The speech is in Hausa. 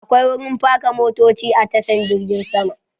Akwai wurin parka motoci a tashan girgin sama